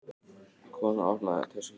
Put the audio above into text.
Konan opnaði öskjuna.